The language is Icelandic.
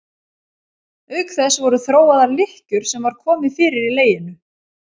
Auk þess voru þróaðar lykkjur sem var komið fyrir í leginu.